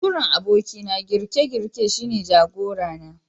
Baturen abokina girke-girke shine jagora na.